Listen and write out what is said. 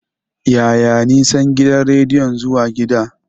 Yaya nisan gidan rediyon zuwa gida?